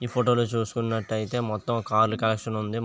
ఈ ఫోటోని ని చూస్తున్నట్టు మొత్తం కార్ కలెక్షన్ ఉంది